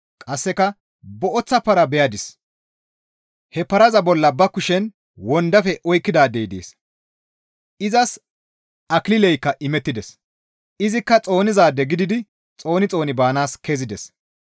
Qasseka booththa para beyadis; he paraza bolla ba kushen wondafe oykkidaadey dees; izas akilileykka imettides; izikka xoonizaade gididi xooni xooni baanaas kezides.